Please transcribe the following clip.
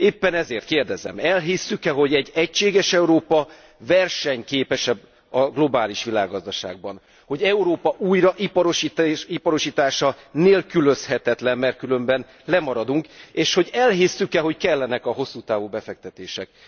Éppen ezért kérdezem elhisszük e, hogy egy egységes Európa versenyképesebb a globális világgazgaságban, hogy Európa újraiparosítása nélkülözhetetlen, mert különben lemaradunk, és hogy elhisszük e, hogy kellenek a hosszú távú befektetések.